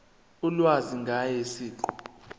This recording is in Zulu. ulwazi ngaye siqu